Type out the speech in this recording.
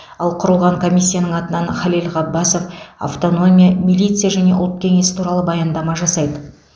ал құрылған комиссияның атынан халел ғаббасов автономия милиция және ұлт кеңесі туралы баяндама жасайды